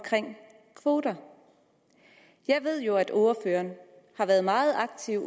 kvoter jeg ved jo at ordføreren har været meget aktiv